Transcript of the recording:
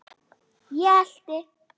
Ég elti.